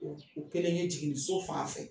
O o kelen ye jiginiso fan fɛ